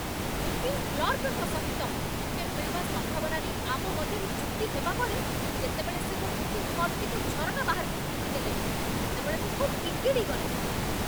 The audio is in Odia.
ବୁକିଂ କ୍ଳର୍କଙ୍କ ସହିତ ଟିକେଟ୍ ମିଳିବା ସମ୍ଭାବନା ନେଇ ଆମ ମଧ୍ୟରେ ଯୁକ୍ତି ହେବା ପରେ, ଯେତେବେଳେ ସେ ମୋ ବୁକିଂ ଫର୍ମଟିକୁ ଝରକା ବାହାରକୁ ଫିଙ୍ଗି ଦେଲେ, ସେତେବେଳେ ମୁଁ ଖୁବ୍ ବିଗିଡ଼ିଗଲି।